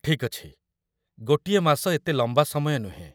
ଠିକ୍ ଅଛି, ଗୋଟିଏ ମାସ ଏତେ ଲମ୍ବା ସମୟ ନୁହେଁ ।